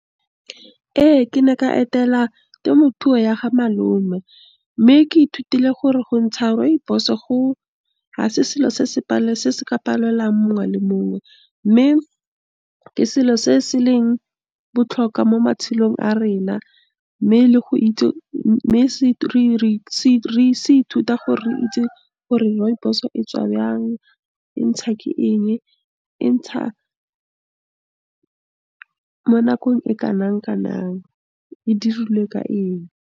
Ee, ke ne ka etela temothuo ya ga malome, mme ke ithutile gore go ntsha rooibos-o go, ga se selo se se ka palelang mongwe le mongwe, mme ke selo se se leng botlhokwa mo matshelong a rena, mme le go itse mme re se ithuta gore rooibos-o etswa byang, e ntsha ke eng, e ntsha mo nakong e kanakanang, e dirilwe ka eng.